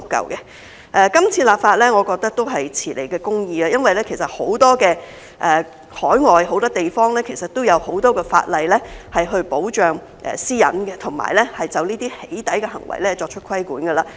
我認為這次立法是遲來的公義，因為海外很多地方其實都有很多法例保障私隱，以及就"起底"行為作出規管。